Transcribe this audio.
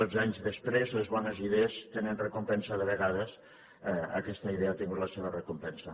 dotze anys després les bones idees tenen recompensa de vegades aquesta idea ha tingut la seva recompensa